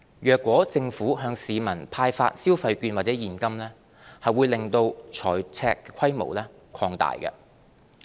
若政府向市民派發消費券或現金，會令財赤規模擴大。